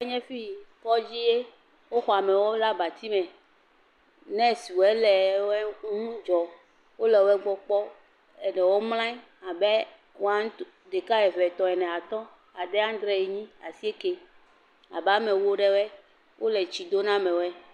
…enye fi, kɔdzi ye, woxɔ amewo ɖe abati me, nɛswɔe le wɔe ŋu dzɔm, wole wo gbɔ kpɔm, eɖewɔe mlɔa anyi abe wan, ɖeka, eve, etɔ̃, ene, atɔ̃, ade, adre enyi, asieke abe ame ewo eɖewɔe, wole tsi do na amewɔe.